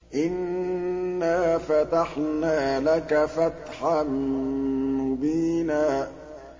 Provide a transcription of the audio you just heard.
إِنَّا فَتَحْنَا لَكَ فَتْحًا مُّبِينًا